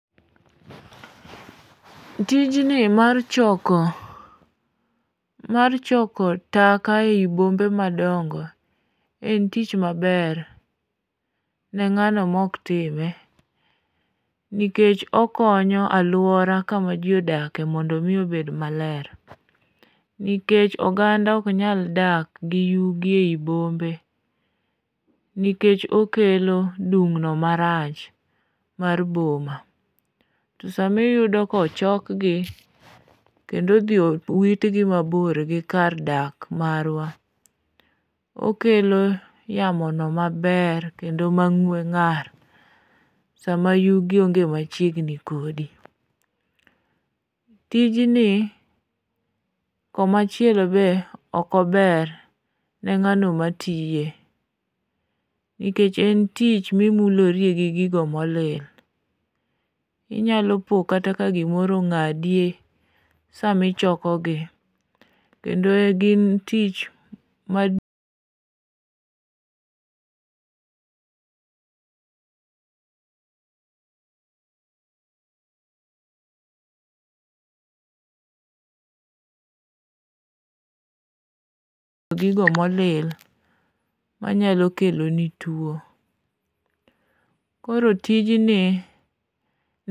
Tijni mar choko taka ei bombe madongo en tich maber ne ng'ano mok time, nikech okonyo alwora kama ji odakie mondo omi obed maler nikech oganda ok nyal dak gi yugi ei bombe nikech okelo dumno marach mar boma, to sama iyudo kochokgi kendo odhi owitgi mabor gi kar dak marwa, okelo yamono maber kendo mang'we ng'ar sama yugi onge machiegni kodi. Tijni, komaachielo be ok ober ne ng'ano matiye nikech en tich mimulorie gi gigo molil, inyalo po kata ka gimoro ong'adi sami chokogi, kendo gin tich ma gigo molil manyalo keloni tuwo. Koro tijni